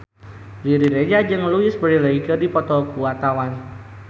Riri Reza jeung Louise Brealey keur dipoto ku wartawan